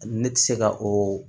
Ne tɛ se ka o